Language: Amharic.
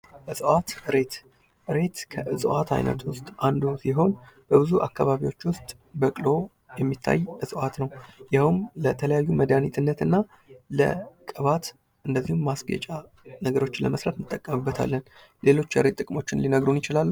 እጽዋት ሬት ሬት እጽዋት አይነቶች አንዱ ሲሆን በብዙ አካባቢዎች ውስጥ በቅሎ የሚታይ እጽዋት ነው። ይኸውም ለተለያዩ መድሃኒትነትና ቅባት እንደዚሁም ማስጌጫ ነገሮችን ለመስራት እንጠቀምበታለን። ሌሎች የሬት ጥቅሞች ሊነግሩን ይችላሉ።